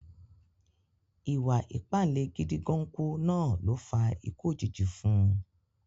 Ìwà ìpáǹle gídìgánkú náà ló fa ikú òjijì fún un